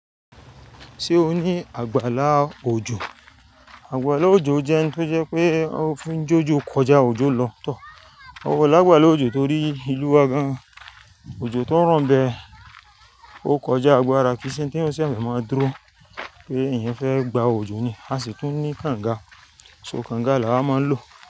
Ṣé o ní àgbàlá òjò? Àgbàlá òjò jẹ́ ohun tó jẹ́ pé ó fi jójó kọjá òjò lọ tọ̀. Ó wọ̀ lágbàlá òjò torí ìlú wa gan òjò tó ń ràn bẹ́. Ó kọjá agbára kí nṣe tí ó ṣe maa máa dúró pé eyan fẹ́ gba òjò ni, a sì tún ní kànga. So kànga lawa máa ń lò.